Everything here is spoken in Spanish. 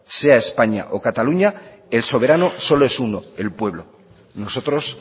sea españa o cataluña el soberano solo es uno el pueblo nosotros